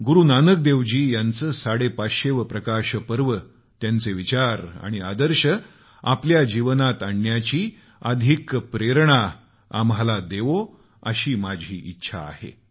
गुरूनानक देव जी यांचे 550 वे प्रकाश पर्व त्यांचे विचार आणि आदर्श आपल्या जीवनात आणण्याची अधिक प्रेरणा आम्हाला देईल अशी माझी इच्छा आहे